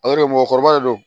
mɔgɔkɔrɔba de don